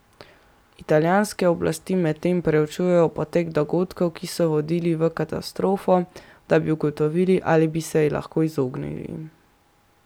Italijanske oblasti medtem preučujejo potek dogodkov, ki so vodili v katastrofo, da bi ugotovili, ali bi se ji lahko izognili.